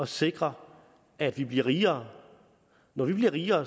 sikre at vi bliver rigere når vi bliver rigere